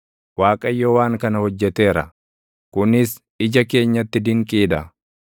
Waaqayyo waan kana hojjeteera; kunis ija keenyatti dinqii dha.